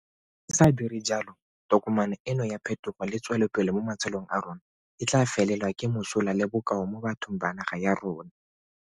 Fa re sa dire jalo, tokomane eno ya phetogo le tswelopele mo matshelong a rona e tla felelwa ke mosola le bokao mo bathong ba naga ya rona.